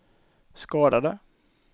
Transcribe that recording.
skadade